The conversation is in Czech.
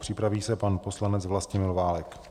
Připraví se pan poslanec Vlastimil Válek.